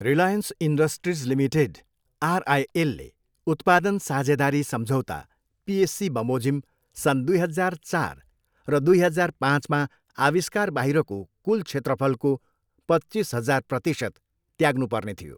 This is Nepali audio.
रिलायन्स इन्डस्ट्रिज लिमिटेड, आरआइएलले उत्पादन साझेदारी सम्झौता, पिएससी, बमोजिम सन् दुई हजार चार र दुई हजार पाँचमा आविष्कार बाहिरको कुल क्षेत्रफलको पच्चिस हजार प्रतिशत त्याग्नु पर्ने थियो।